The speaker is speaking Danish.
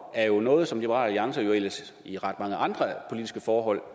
er jo noget som liberal alliance ellers i ret mange andre politiske forhold